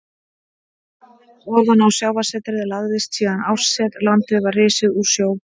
Ofan á sjávarsetið lagðist síðan árset, landið var risið úr sjó.